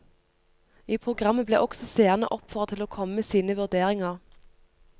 I programmet ble også seerne oppfordret til å komme med sine vurderinger.